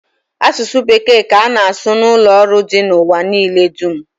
Asụsụ bekee ka ana asụ n'ụlọ ọrụ dị n'ụwa niile dum